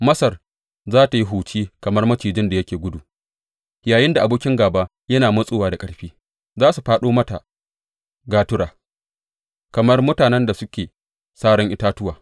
Masar za tă yi huci kamar macijin da yake gudu yayinda abokin gāba yana matsowa da ƙarfi; za su fāɗo mata gatura kamar mutanen da suke saran itatuwa.